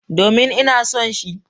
Domin, ina son shi.